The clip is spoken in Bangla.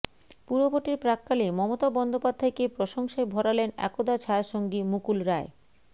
পুরভোটের প্রাক্কালে মমতা বন্দ্যোপাধ্যায়কে প্রশংসায় ভরালেন একদা ছায়াসঙ্গী মুকুল রায়